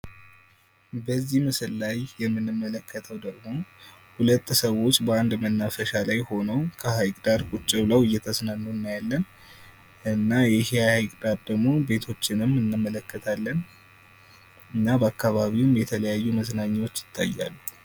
በዚህ ምስል ላይ የምንመለከተው ደግሞ ሁለት ሰዎች በአንድ መናፈሻ ላይ ሆነው ሀይቅ ዳር ቁጭ ብለው እየተዝናኑ እናያለን። እና እዚህ ሀይቅ ዳር ደግሞ ቤቶችንም እንመለከታለን። እና በአካባቢውም የተለያዩ መዝናኛዎች ይታያሉ።